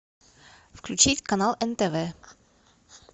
включить канал нтв